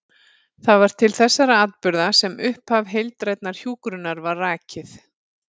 Það var til þessara atburða sem upphaf heildrænnar hjúkrunar var rakið.